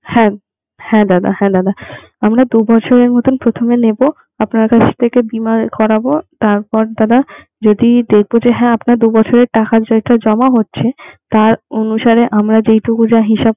হ্যাঁ হ্যাঁ দাদা হ্যাঁ দাদা আমরা দু বছরের মতো প্রথমে নেবো আপনার কাছ থেকে বীমা করাবো তারপর দাদা যদি দেখবো যে হ্যা আপনার দু বছরের টাকা যেটা জমা হচ্ছে তার অনুসারে আমরা যেইটুকু যা হিসাব